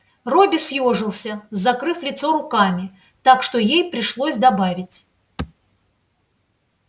робби съёжился закрыв лицо руками так что ей пришлось добавить